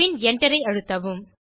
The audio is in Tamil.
பின் Enter ஐ அழுத்தவும்